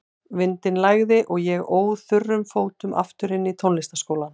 Vindinn lægði og ég óð þurrum fótum aftur inn í tónlistarskólann.